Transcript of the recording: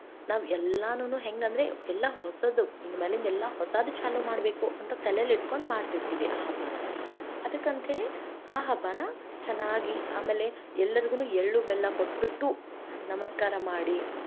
ನಾವೆಲ್ಲಾನು ಹೆಂಗಂದ್ರೆ ಎಲ್ಲಾ ಹೊಸದು ಇನ್ನ ಮ್ಯಾಲಿಂದ ಹೊಸದು ಚಾಲು ಮಾಡಬೇಕು ಅಂತ ತಲೇಲಿ ಇಟ್ಕೊಂಡ ಮಾಡ್ತಿರ್ತೇವಿ ಆ ಹಬ್ಬಾನಾ ಅದಕ್ಕ ಅಂತೇಳಿ ಆ ಹಬ್ಬಾನಾ ಚನ್ನಾಗಿ ಆಮೇಲೆ ಎಲ್ಲರಿಗೂ ಎಳ್ಳು-ಬೆಲ್ಲ ಕೊಟ್ಟ್ಬಿಟ್ಟು, ನಮಸ್ಕಾರ ಮಾಡಿ.